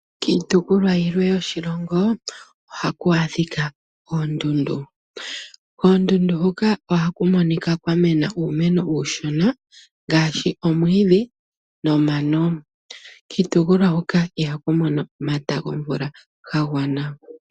Kiitopolwa yimwe yoshilongo ohaku adhika oondundu. Olundji kiitopolwa mbika yoondundu ihaku mono omata gomvula ga gwana, onkene ano koondundu ohaku monika owala kwa mena uumeno uushona ngaashi omwiidhi nomano.